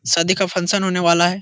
शादी का फंशन होने वाला है ।